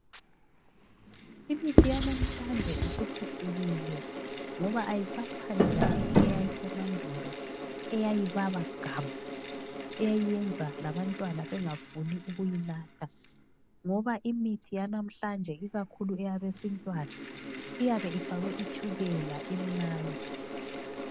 Imithi yanamhlanje isiphucukile ngoba ayisafani laleyi eyayisemandulo eyayibaba gamu eyayiyenza labantwana bengafuni ukuyinatha ngoba imithi yanamhlanje ikakhulu eyabesintwana iyabe ifakwe itshukela imnandi.